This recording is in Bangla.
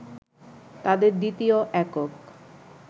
তাদের দ্বিতীয় একক